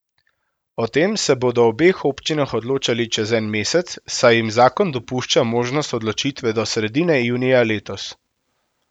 O tem se bodo v obeh občinah odločali čez en mesec, saj jim zakon dopušča možnost odločitve do sredine junija letos.